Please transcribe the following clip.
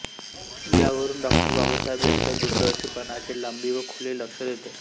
यावरून डॉ बाबासाहेब यांच्या दूरदर्शीपणाची लांबी व खोली लक्षात येते